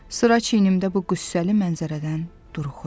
Sıra çiynimdə bu qüssəli mənzərədən duruxuram.